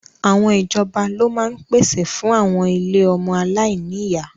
Àwọn ìjọba ló máa ń pèsè fún àwọn ilé ọmọ aláìní ìyá